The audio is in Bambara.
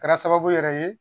Kɛra sababu yɛrɛ ye